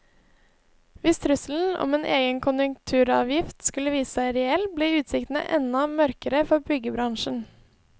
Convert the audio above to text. Hvis trusselen om en egen konjunkturavgift skulle vise seg reell, blir utsiktene enda mørkere for byggebransjen.